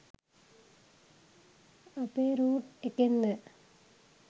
අපේ රූට් එකෙන්ද?